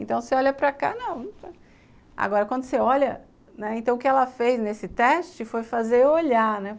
Então, você olha para cá, não... Agora, quando você olha... Então, o que ela fez nesse teste foi fazer eu olhar, né?